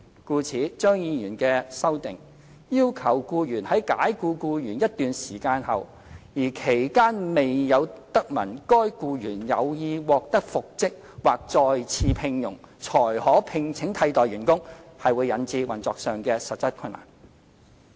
故此，張議員的修正案要求僱主在解僱僱員一段時間後，而期間未有得聞該僱員有意獲得復職或再次聘用，才可聘請替代員工，會引致運作上的實質困難。